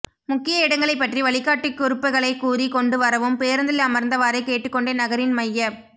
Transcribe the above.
முக்கிய இடங்களைப் பற்றி வழிகாட்டி குறிப்புகளைக் கூறிக் கொண்டு வரவும் பேருந்தில் அமர்ந்த வாறே கேட்டுக் கொண்டே நகரின் மையப்